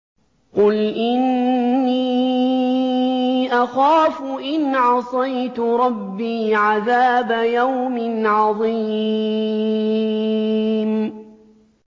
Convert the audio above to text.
قُلْ إِنِّي أَخَافُ إِنْ عَصَيْتُ رَبِّي عَذَابَ يَوْمٍ عَظِيمٍ